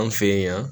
An fɛ yen yan